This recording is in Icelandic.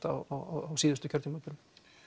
á síðustu kjörtímabilum